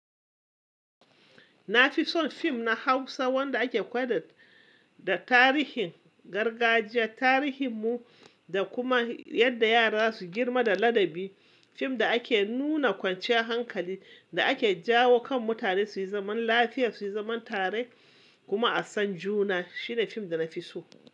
Na fi son fim na Hausa wanda ake koyar da tarihin gargajiya, tarihin mu da kuma yadda yara za su girma da ladabi. Fim da ake nuna kwanciyar hankali da ake jawo kan mutane su yi zaman lafiya, su yi zaman tare kuma a san juna. Shi ne fim da na fi so.